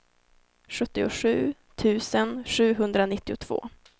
sjuttiosju tusen sjuhundranittiotvå